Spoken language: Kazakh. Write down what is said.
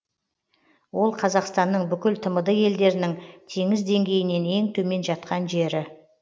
ол қазақстанның бүкіл тмд елдерінің теңіз деңгейінен ең төмен жаткан жері